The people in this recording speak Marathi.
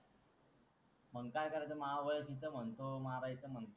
मंग का करायच माह ओळखिच म्हणतो, मारायच म्हणतो.